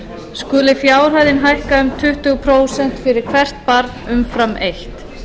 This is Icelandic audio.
skuli fjárhæðin hækka um tuttugu prósent fyrir hvert barn umfram eitt